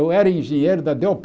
Eu era engenheiro da dê ó